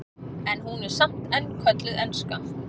en hún er samt enn kölluð enska